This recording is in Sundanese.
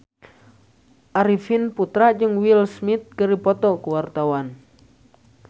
Arifin Putra jeung Will Smith keur dipoto ku wartawan